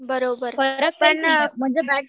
बरोबर पण